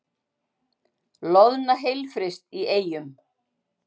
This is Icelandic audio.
Loðna heilfryst í Eyjum